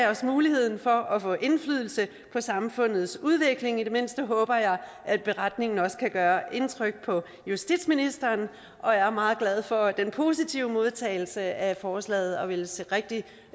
os muligheden for at få indflydelse på samfundets udvikling i det mindste håber jeg at beretningen også kan gøre indtryk på justitsministeren jeg er meget glad for den positive modtagelse af forslaget og vil se rigtig